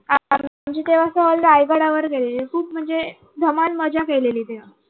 आ आमची तेव्हा सहल रायगडा वर केली होती खूप म्हणजे धमाल मजा केली तेव्हा.